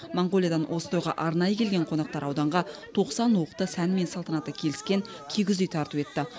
моңғолиядан осы тойға арнайы келген қонақтар ауданға тоқсан уықты сәні мен салтанаты келіскен кигіз үй тарту етті